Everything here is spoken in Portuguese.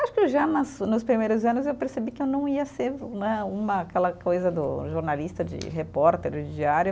Acho que já nos nos primeiros anos eu percebi que eu não ia ser né, uma aquela coisa do jornalista, de repórter, de diário.